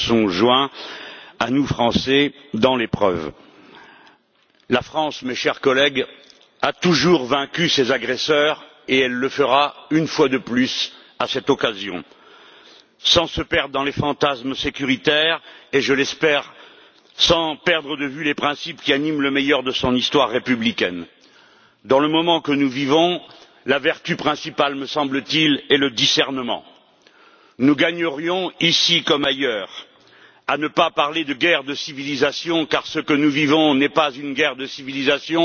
Madame la Présidente, je remercie les collègues et les institutions qui se sont joints à nous, Français, dans l'épreuve. La France, mes chers collègues, a toujours vaincu ses agresseurs et elle le fera une fois de plus à cette occasion. Sans se perdre dans les fantasmes sécuritaires et, je l'espère, sans perdre de vue les principes qui animent le meilleur de son histoire républicaine. Dans le moment que nous vivons, la vertu principale, me semble t il, est le discernement. Nous gagnerions, ici comme ailleurs, à ne pas parler de guerre de civilisation, car ce que nous vivons n'est pas une guerre de civilisation